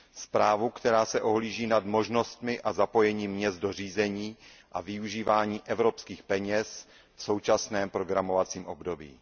Zprávu, která se ohlíží nad možnostmi a zapojením měst do řízení a využívání evropských peněz v současném programovacím období.